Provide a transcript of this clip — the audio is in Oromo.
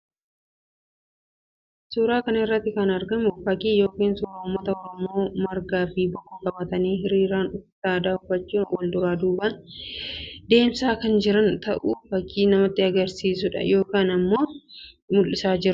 Fakkii kana irratti kan argamu fakkii yookiin suuraa uummata Oromoo margaa fi bokkuu qabatanii hiriiraan uffata aadaa uffachuun wal duraa duubaan deemaa kan jiran ta'uu fakkii namatti agarsiisu yookiin immoo mul'isuu dha.